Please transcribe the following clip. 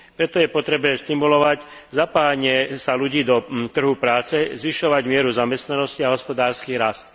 Preto je potrebné stimulovať zapájanie sa ľudí do trhu práce, zvyšovať mieru zamestnanosti a hospodársky rast.